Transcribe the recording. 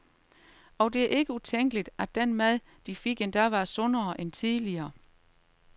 Og det er ikke utænkeligt, at den mad, de fik, endda var sundere end tidligere.